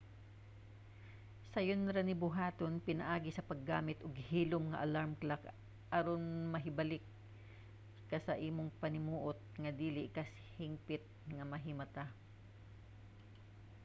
sayon ra ni buhaton pinaagi sa paggamit og hilom nga alarm clock aron mahibalik ka sa imong panimuot nga dili ka hingpit nga mahimata